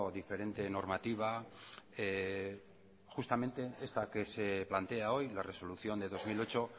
diferente normativa justamente esta que se plantea hoy la resolución de dos mil ocho